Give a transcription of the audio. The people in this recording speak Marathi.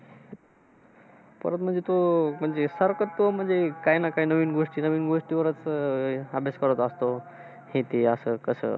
परत म्हणजे तो, म्हणजे सारखा तो म्हणजे, काही ना काही नवीन गोष्टी नवीन वस्तू वरचं अह अभ्यास करत असतो. हे ते, असं कसं?